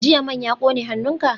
Jiya man ya kone hannunka?